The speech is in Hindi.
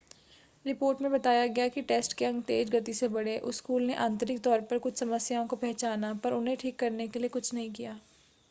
रिपोर्ट में बताया गया कि टेस्ट के अंक तेज़ गति से बढ़े उस स्कूल ने आंतरिक तौर पर कुछ समस्याओं को पहचाना पर उन्हें ठीक करने के लिए कुछ नहीं किया